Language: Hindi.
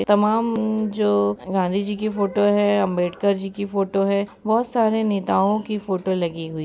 तमाम उम्म जो गांधी जी की फोटो है अम्बेडकर जी की फोटो है बहुत सारे नेताओं की फोटो लगी हुई --